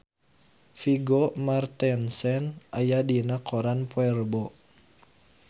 Vigo Mortensen aya dina koran poe Rebo